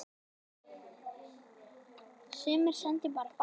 Sumir sendu bara fax